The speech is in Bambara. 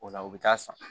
O la u bɛ taa san